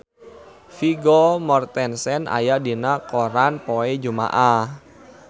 Vigo Mortensen aya dina koran poe Jumaah